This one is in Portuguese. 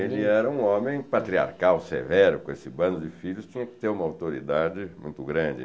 Ele era um homem patriarcal, severo, com esse bando de filhos, tinha que ter uma autoridade muito grande.